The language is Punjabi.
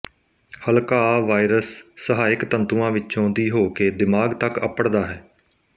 ਹਲਕਾਅ ਵਾਈਰਸ ਸਹਾਇਕ ਤੰਤੂਆਂ ਵਿੱਚੋਂ ਦੀ ਹੋ ਕੇ ਦਿਮਾਗ ਤੱਕ ਅੱਪੜਦਾ ਹੈ